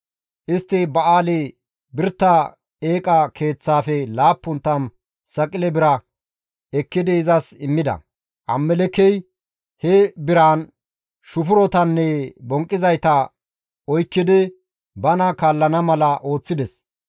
Istti Ba7aali-Birita eeqa keeththaafe 70 saqile bira ekkidi izas immida. Abimelekkey he biraan shufurotanne bonqqizayta oykkidi bana kaallana mala ooththides.